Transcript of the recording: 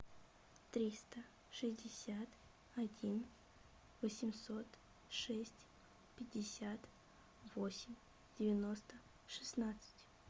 триста шестьдесят один восемьсот шесть пятьдесят восемь девяносто шестнадцать